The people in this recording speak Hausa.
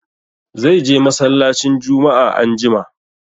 Zai je mallacin Jumma'a anjima.